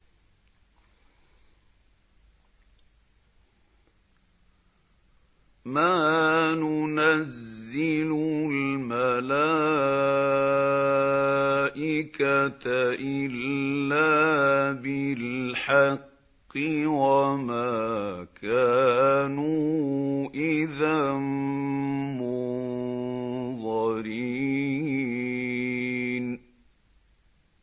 مَا نُنَزِّلُ الْمَلَائِكَةَ إِلَّا بِالْحَقِّ وَمَا كَانُوا إِذًا مُّنظَرِينَ